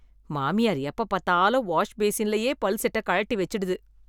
மாமியார் எப்ப பாத்தாலும் வாஷ் பேசின்லயே பல் செட்டக் கழட்டி வெச்சுடுது.